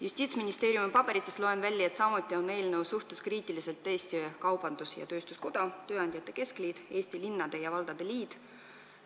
Justiitsministeeriumi paberitest loen välja, et samuti on eelnõu suhtes kriitilised Eesti Kaubandus-Tööstuskoda, Eesti Tööandjate Keskliit ning Eesti Linnade ja Valdade Liit.